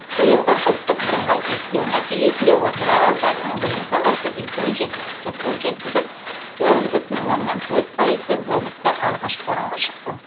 биылғы ұлттық бірыңғай тестілеу нәтижесінде отырар ауданының білім саласы үлкен жетістікке қол жеткізіп тоғыз бүтін оннан төрт пайызбен облыста алғашқы орынға шықты